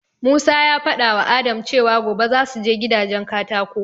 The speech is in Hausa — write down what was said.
Musa ya faɗawa Adam cewa gobe zasu je gidajen katako